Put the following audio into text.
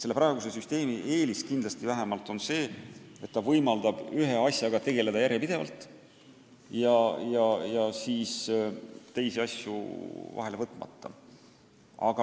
Praeguse süsteemi kindel eelis on see, et ta võimaldab ühe asjaga tegeleda järjepidevalt, teisi asju vahele võtmata.